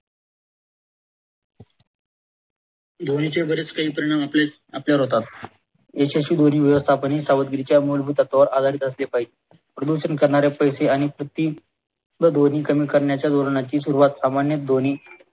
ध्वामी चे बरेच काही परिणाम आपल्या आपल्यावर होतात व ध्वनी कमी करण्याच्या धोरणाची सुरुवात सर्वांनी ध्वनी